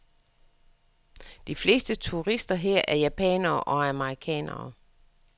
De fleste turister her er japanere og amerikanere.